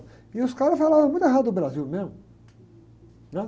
E os caras falavam muito errado do Brasil mesmo, né?